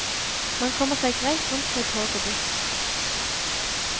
Man kommer seg greit rundt med tog og buss.